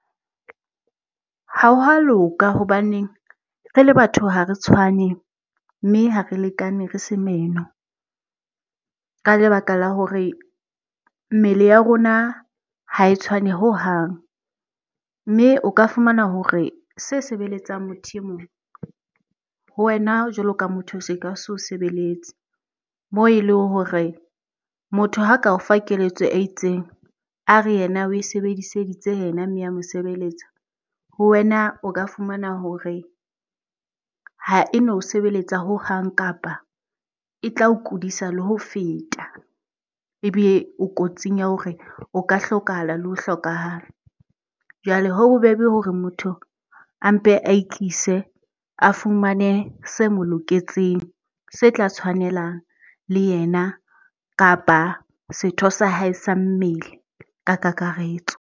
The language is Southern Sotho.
Hwa ha loka hobaneng, re le batho ha re tshwane mme ha re lekane re se meno. Ka lebaka la hore mmele ya rona ha e tshwane hohang. Mme o ka fumana hore se sebeletsang motho e mong, ho wena jwalo ka motho se ka so sebeletse. Moo e leng hore motho ha ka o fa keletso e itseng, a re yena o e sebediseditse ya mo sebeletsa. Ho wena, o ka fumana hore ha eno o sebeletsa hohang kapa e tla o kudisa le ho feta, ebe o kotsing ya hore o ka hlokahala le ho hlokahala. Jwale ho bobebe hore motho a mpe a e ikise, a fumane se mo loketseng, se tla tshwanelang le yena kapa setho sa hae sa mmele ka kakaretso.